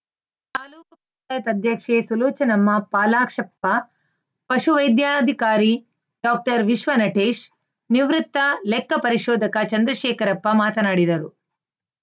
ತಾಲೂಕ್ ಪಂಚಾಯತ್ ಅಧ್ಯಕ್ಷೆ ಸುಲೋಚನಮ್ಮ ಪಾಲಾಕ್ಷಪ್ಪ ಪಶುವೈದ್ಯಾಧಿಕಾರಿ ಡಾಕ್ಟರ್ ವಿಶ್ವ ನಟೇಶ್‌ ನಿವೃತ್ತ ಲೆಕ್ಕ ಪರಿಶೋಧಕ ಚಂದ್ರಶೇಖರಪ್ಪ ಮಾತನಾಡಿದರು